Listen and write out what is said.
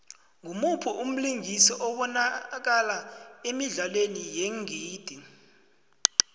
ngumuphi umlingisi obanakala emidlalweni yeengidi